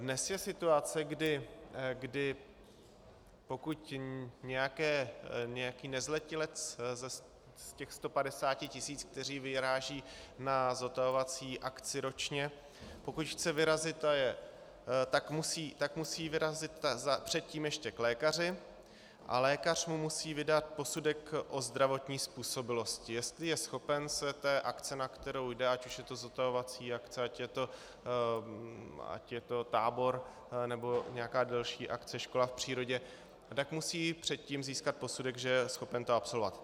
Dnes je situace, kdy pokud nějaký nezletilec z těch 150 tisíc, kteří vyrážejí na zotavovací akci ročně, pokud chce vyrazit, tak musí vyrazit předtím ještě k lékaři a lékař mu musí vydat posudek o zdravotní způsobilosti, jestli je schopen se té akce, na kterou jde, ať už je to zotavovací akce, ať je to tábor, nebo nějaká delší akce, škola v přírodě, tak musí předtím získat posudek, že je schopen to absolvovat.